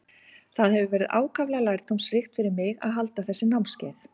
Það hefur verið ákaflega lærdómsríkt fyrir mig að halda þessi námskeið.